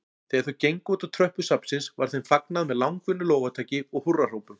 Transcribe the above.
Þegar þau gengu útá tröppur safnsins var þeim fagnað með langvinnu lófataki og húrrahrópum.